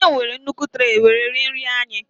nnem were nnukwu tray were rie nri anyị